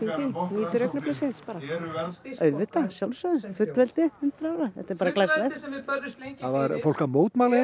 nýtur augnabliksins bara auðvitað fullveldið hundrað ára þetta er bara glæsilegt það var fólk að mótmæla